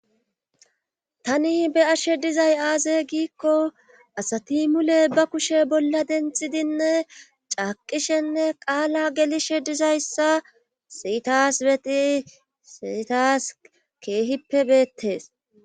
Tani be ashshe dizay aaze giikko asati mule ba kushe bolla denthidinne caaqishenne qaala gelishe dizayssa siyitas beti siyitas keehippe beettees.